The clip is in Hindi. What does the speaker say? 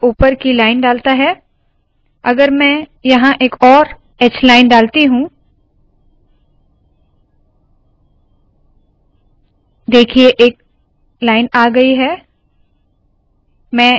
यह ऊपर की लाइन डालता है अगर मैं यहाँ एक और hline डालती हूँ देखिए एक लाइन आ गयी है